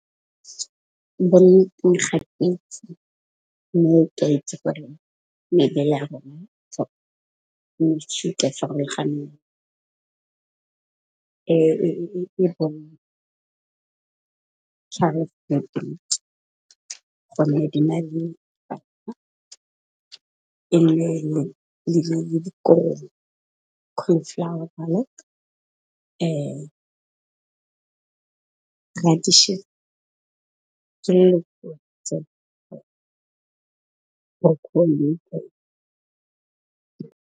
Gatetse mme mebele ya rona mo shuta farologaneng e di na le dikobo .